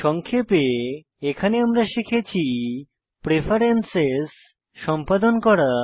সংক্ষেপে এখানে আমরা শিখেছি প্রেফেরেন্সেস সম্পাদন করা